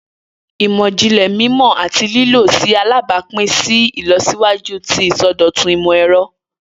Imọ-jinlẹ mimọ ati lilo ṣe alabapin si ilọsiwaju ti isọdọtun imọ-ẹrọ.